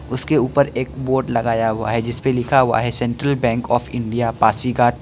उसके ऊपर एक बोर्ड लगाया हुआ है जिस पे लिखा हुआ है Central Bank of India Pasighat.